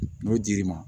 N'o dir'i ma